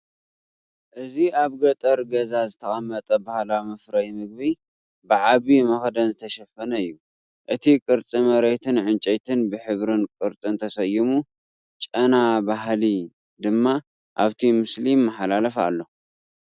እዚ ኣብ ገጠር ገዛ ዝተቐመጠ ባህላዊ መፍረዪ ምግቢ፡ ብዓቢ መኽደኒ ዝተሸፈነ እዩ። እቲ ቅርጺ መሬትን ዕንጨይትን ብሕብርን ቅርጽን ተሰይሙ፡ ጨና ባህሊ ድማ ኣብቲ ምስሊ ይመሓላለፍ ኣሎ።